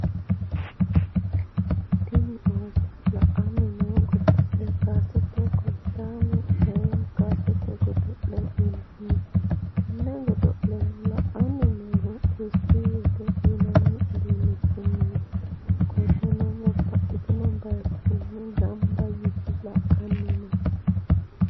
Tini ooso lani noo godole kasete kolichame woyim kasete godole yinana tene godoleno la’ani nohu desitivete yinani udunichinniti qoleno babtitino bayichini ganiba yite la’ani no